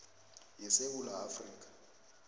ye sewula afrika